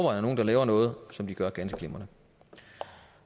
er nogle der laver noget som de gør ganske glimrende